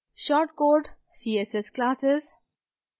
shortcode css classes